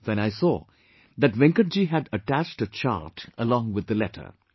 Then I saw that Venkatji has attached a chart along with the letter